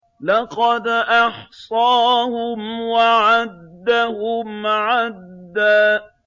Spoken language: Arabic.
لَّقَدْ أَحْصَاهُمْ وَعَدَّهُمْ عَدًّا